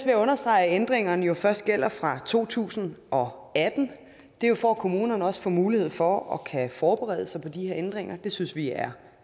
jeg understrege at ændringerne jo først gælder fra to tusind og atten det er jo for at kommunerne også får mulighed for at forberede sig på de her ændringer det synes vi er